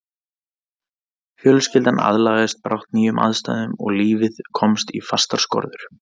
Fjölskyldan aðlagaðist brátt nýjum aðstæðum og lífið komst í fastar skorður.